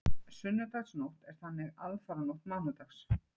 Sunnudagsnótt er þannig aðfaranótt mánudags.